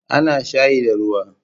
A na shayi da ruwa